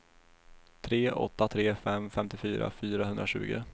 tre åtta tre fem femtiofyra fyrahundratjugo